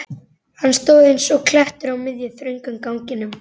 Hann stóð eins og klettur á miðjum, þröngum ganginum.